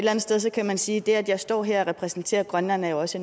andet sted kan man sige at det at jeg står her og repræsenterer grønland jo også